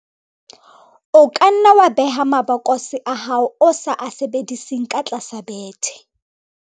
o ka nna wa beha mabokose a hao ao o sa a sebediseng ka tlasa bethe